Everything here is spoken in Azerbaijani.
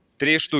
Üç ədəd.